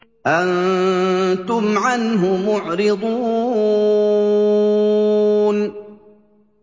أَنتُمْ عَنْهُ مُعْرِضُونَ